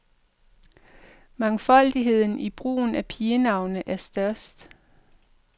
Mangfoldigheden i brugen af pigenavne er størst.